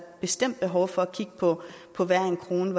bestemt behov for at kigge på på hver en krone